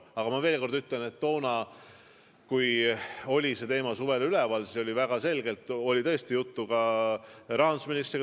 Aga ma veel kord ütlen, et toona, kui see teema suvel üleval oli, oli mul tõesti juttu ka rahandusministriga.